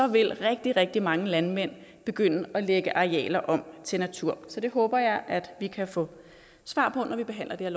vil rigtig rigtig mange landmænd begynde at lægge arealer om til natur så det håber jeg at vi kan få svar på når vi behandler